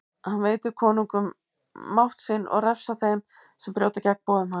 Hann veitir konungum mátt sinn og refsar þeim sem brjóta gegn boðum hans.